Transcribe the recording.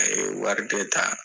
A ye wari bɛɛ ta.